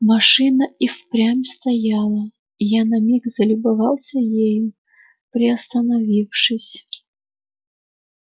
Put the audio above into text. машина и впрямь стояла я на миг залюбовался ею приостановившись